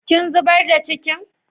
Kin zubar da cikin?